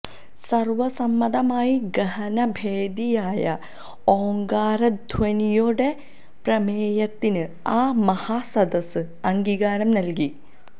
സര്വസമ്മതമായി ഗഹനഭേദിയായ ഓങ്കാരധ്വനിയോടെ പ്രമേയത്തിന് ആ മഹാസദസ്സ് അംഗീകാരം നല്കി